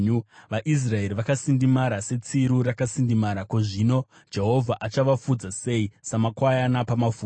VaIsraeri vakasindimara, setsiru rakasindimara. Zvino Jehovha achavafudza sei samakwayana pamafuro?